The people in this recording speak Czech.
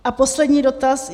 A poslední dotaz.